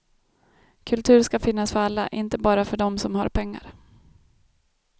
Kultur ska finnas för alla, inte bara för dem som har pengar.